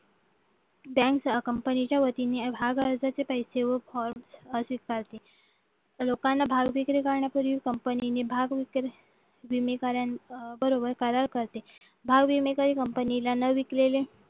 bank कंपनीच्या वतीने भाग अर्जाचे पैसे व लोकांना भाव विक्री करण्यापूर्वी कंपनीने भाव विक्री अधिकाऱ्यांबरोबर करार करते घाव विमे सरी कंपनीला न विकलेले